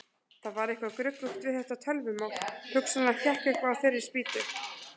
Það var eitthvað gruggugt við þetta tölvumál, hugsanlega hékk eitthvað á þeirri spýtu.